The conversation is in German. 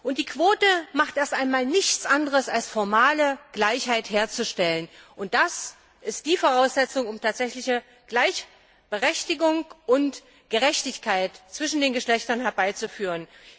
Und die Quote macht erst einmal nichts anderes, als formale Gleichheit herzustellen, und das ist die Voraussetzung, um tatsächliche Gleichberechtigung und Gerechtigkeit zwischen den Geschlechtern herbeizuführen.